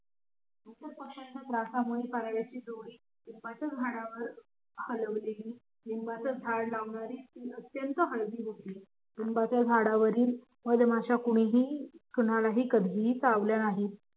लिंबाच्या झाडावरील पारव्याची जोडी लिंबाचं झाड लावणारी अत्यंत हळवी होती लिम्बाच्याझाडावरील मधमाशा कधीही चावल्या नाहीत